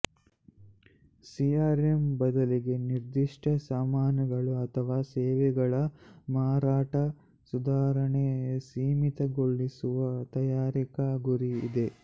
CRM ಬದಲಿಗೆ ನಿರ್ದಿಷ್ಟ ಸಾಮಾನುಗಳು ಅಥವಾ ಸೇವೆಗಳ ಮಾರಾಟ ಸುಧಾರಣೆ ಸೀಮಿತಗೊಳಿಸುವ ತಯಾರಿಕಾ ಗುರಿ ಇದೆ